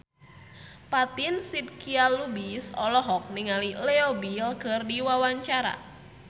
Fatin Shidqia Lubis olohok ningali Leo Bill keur diwawancara